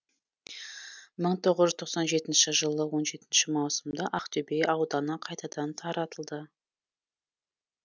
мың тоғыз жүз тоқсан жетінші жылы он жетінші маусымда ақтөбе ауданы қайтадан таратылды